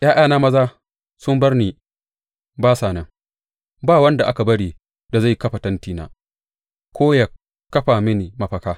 ’Ya’yana maza sun bar ni ba sa nan; ba wanda aka bari da zai kafa tentina ko ya kafa mini mafaka.